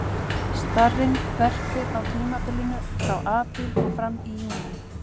Starinn verpir á tímabilinu frá apríl og fram í júní.